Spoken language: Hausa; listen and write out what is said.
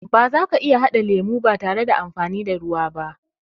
Bazaka iya haɗa lemo ba tare da amfani da ruwa ba